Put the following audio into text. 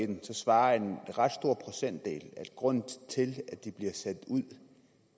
det svarer en ret stor procentdel at grunden til at de bliver sat ud